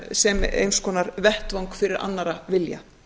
sem eins konar vettvang fyrir annarrra vilja